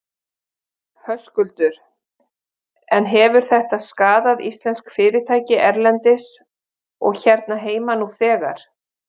Höskuldur: En hefur þetta skaðað íslensk fyrirtæki erlendis og hérna heima nú þegar?